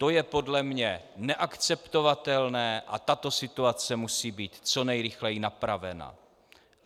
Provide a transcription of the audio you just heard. To je podle mne neakceptovatelné a tato situace musí být co nejrychleji napravena.